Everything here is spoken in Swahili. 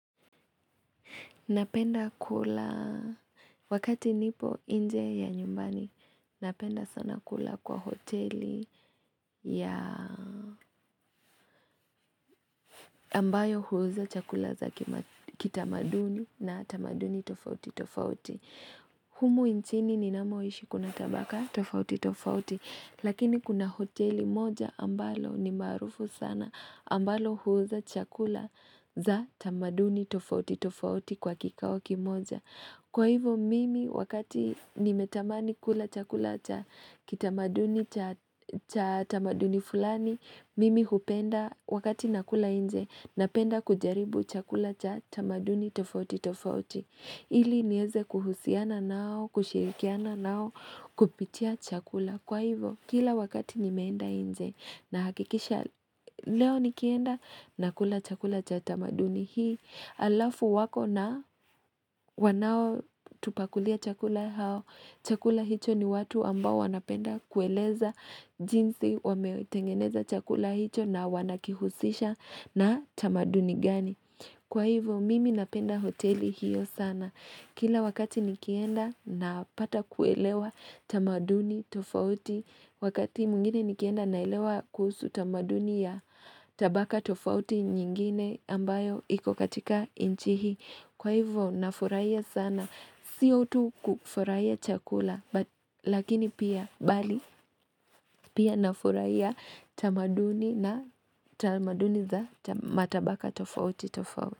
Napenda kula wakati nipo inje ya nyumbani, napenda sana kula kwa hoteli ya ambayo huuza chakula za kitamaduni na tamaduni tofauti tofauti. Humu inchini ni namoishi kuna tabaka tofauti tofauti, lakini kuna hoteli moja ambalo ni marufu sana, ambalo huuza chakula za tamaduni tofauti tofauti kwa kikao kimoja. Kwa hivyo mimi wakati nimetamani kula chakula cha kitamaduni cha tamaduni fulani, mimi hupenda wakati nakula nje na penda kujaribu chakula cha tamaduni tofauti tofauti. Ili nieze kuhusiana nao, kushirikiana nao, kupitia chakula. Kwa hivyo, kila wakati nimeenda nje na hakikisha leo nikienda na kula chakula cha tamaduni hii, alafu wako na wanao tupakulia chakula hao, chakula hicho ni watu ambao wanapenda kueleza jinsi wameotengeneza chakula hicho na wanakihusisha na tamaduni gani. Kwa hivyo mimi napenda hoteli hiyo sana. Kila wakati nikienda na pata kuelewa tamaduni tofauti. Wakati mwingine nikienda na elewa kuhusu tamaduni ya tabaka tofauti nyingine ambayo ikokatika inchi hii Kwa hivyo nafuraiha sana. Siyo utu kufurahia chakula. Lakini pia bali pia nafurahia tamaduni na tamaduni za matabaka tofauti tofauti.